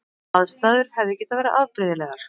Aðstæður hefði verið afbrigðilegar